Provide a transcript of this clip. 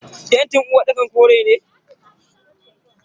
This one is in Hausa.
fentin uwarɗakar kore ne.